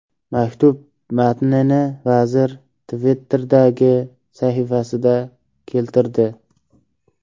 Maktub matnini vazir Twitter’dagi sahifasida keltirdi.